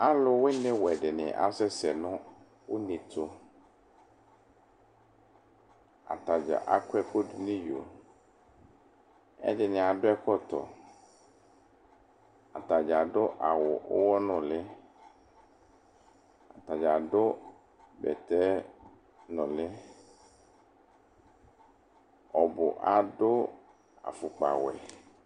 Alʋwini wɛdini asɛsɛ nʋ ʋnetʋ atadza akɔ ɛkʋ dʋnʋ iyo ɛdini adʋ ɛkɔtɔ atadza awʋ ʋwɔnuli atadza adʋ bɛtɛ nʋli ɔbʋ adʋ afʋkpawɛ